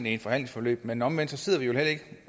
i et forhandlingsforløb men omvendt sidder vi jo ikke